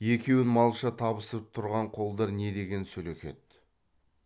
екеуін малша табыстырып тұрған қолдар не деген сөлекет